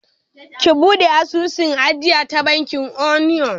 Ki buɗe asusun ajiya da bankin Union!